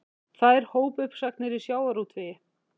Tvær hópuppsagnir í sjávarútvegi